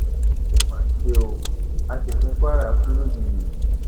ó mà ṣe o aṣòfin kwara kú lójijì